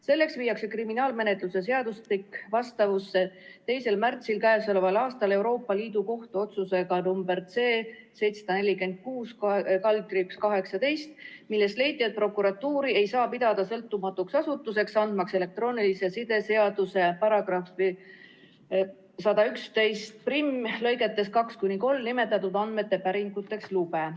Selleks viiakse kriminaalmenetluse seadustik vastavusse k.a 2. märtsi Euroopa Liidu Kohtu otsusega nr C‑746/18, milles leiti, et prokuratuuri ei saa pidada sõltumatuks asutuseks, andmaks elektroonilise side seaduse § 1111 lõigetes 2–3 nimetatud andmete päringuteks lube.